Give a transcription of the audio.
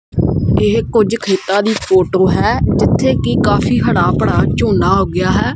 ਇਹ ਕੁਝ ਖੇਤਾਂ ਦੀ ਫੋਟੋ ਹੈ ਜਿੱਥੇ ਕਿ ਕਾਫੀ ਹੜਾਂ ਪੜਾ ਝੋਨਾ ਉੱਗਿਆ ਹੈ।